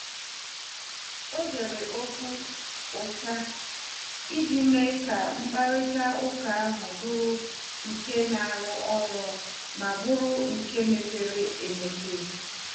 O zere okwu ụta iji mee ka mkparịta ụka ahụ bụrụ nke na-arụ ọrụ ma bụrụ nke mepere emepe.